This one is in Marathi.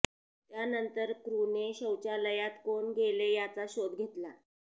त्यानंतर क्रूने शौचालयात कोण गेले याचा शोध घेतला